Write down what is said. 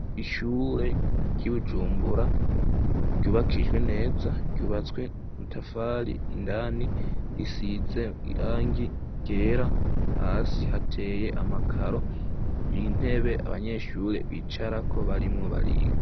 Ishure ryi Bujumbura ryubakishijwe neza ryubatswe mutafari indani risize irangi ryera hasi hateye amakaro y'intebe abanyeshure bicara ko barimo bariga.